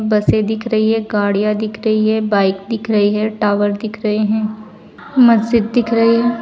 बसें दिख रही हैं गाड़ियां दिख रही है बाइक दिख रही है टावर दिख रहे हैं मस्जिद दिख रही है।